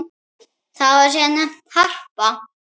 Það var síðar nefnt Harpa.